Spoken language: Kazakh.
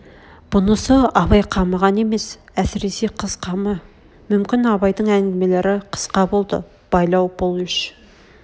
бұнысы абай қамы ғана емес әсресе қыз қамы мүмкін абайдың әңгімелер қысқа болды байлау бұл үш